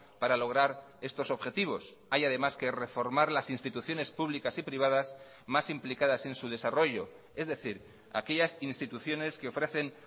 para lograr estos objetivos hay además que reformar las instituciones públicas y privadas más implicadas en su desarrollo es decir aquellas instituciones que ofrecen